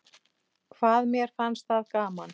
Hvað mér fannst það gaman.